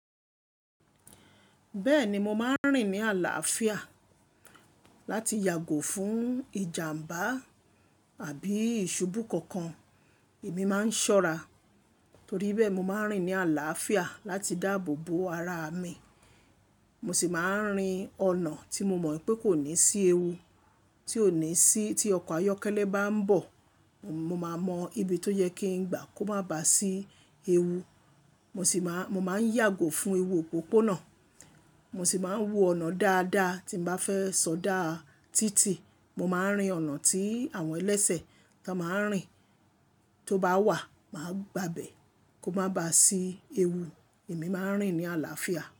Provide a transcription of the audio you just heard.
Bẹ́ẹ̀ni mo máa ń rìn ní àlàáfíà láti yàgò fún ìjàmbá àbí ìṣubú kokan. Èmi máa ń ṣọ́ra torí bẹ́ẹ̀, mo máa ń rìn ní àlàáfíà láti dáàbò bo ara mi. Mo sì máa ń rìn ọ̀nà tí mo mọ̀ pé kò ní sí ewu tí òní sí tí ọkọ̀ ayọ́kẹ́lẹ́ bá ń bọ̀. Mo máa mọ ibi tó yẹ kí n gba kó má bá sí ewu. Mo sì máa, mo máa ń yàgò fún ewu òpópónà. Mo sì máa ń wù ọ̀nà dáadáa tí n bá fẹ́ sọdá títì. Mo máa ń rìn ọ̀nà tí àwọn ẹlẹ́sẹ̀ kan máa ń rìn, tó bá wà, màá gba bẹ̀ kó má bá sí ewu èmi máa ń rìn ní àlàáfíà.